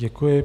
Děkuji.